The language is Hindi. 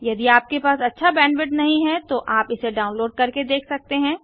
यदि आपके पास अच्छा बैंडविड्थ नहीं है तो आप इसे डाउनलोड करके देख सकते हैं